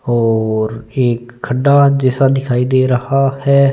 और एक खडा जैसा दिखाई दे रहा है।